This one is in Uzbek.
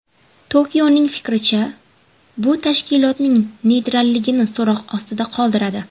Tokioning fikricha, bu tashkilotning neytralligini so‘roq ostida qoldiradi.